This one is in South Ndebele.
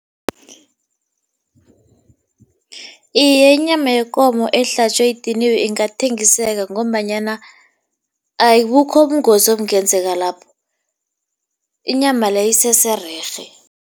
Iye, inyama yekomo ehlatjwe idiniwe ingathengiseka ngombanyana abukho ubungozi obungenzeka lapho, inyama leyo isesererhe.